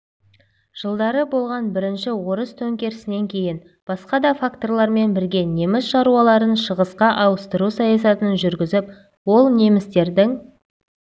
жылдары болған бірінші орыс төңкерісінен кейін басқа да факторлармен бірге неміс шаруаларын шығысқа ауыстыру саясатын жүргізіп ол немістердің